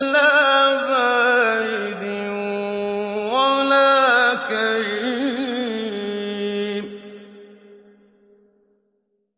لَّا بَارِدٍ وَلَا كَرِيمٍ